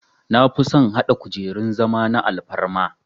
Nafison hada kujerun zama na alfarma